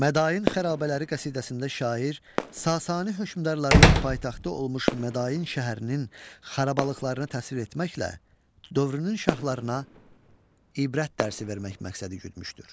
Mədain xarabələri qəsidəsində şair Sasani hökmdarlarının paytaxtı olmuş Mədain şəhərinin xarabalıqlarını təsvir etməklə dövrünün şahlarına ibrət dərsi vermək məqsədi güdmüşdür.